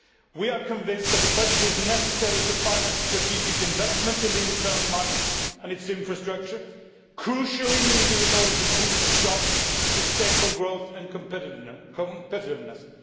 We are convinced that the budget is necessary to finance strategic investments in the internal market and its infrastructure, crucially needed in order to boost jobs, sustainable growth and competitiveness.